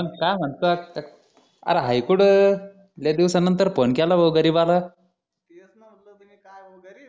मग काय म्हणतात अरे हाय कुठं लय दिवसा नंतर फोन केला भो गरिबाला हाव का